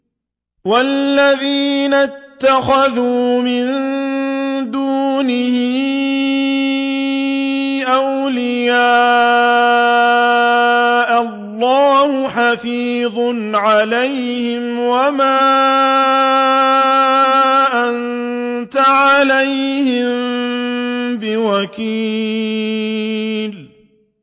وَالَّذِينَ اتَّخَذُوا مِن دُونِهِ أَوْلِيَاءَ اللَّهُ حَفِيظٌ عَلَيْهِمْ وَمَا أَنتَ عَلَيْهِم بِوَكِيلٍ